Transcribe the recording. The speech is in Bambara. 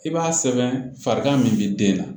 I b'a sɛbɛn farikan min bɛ den na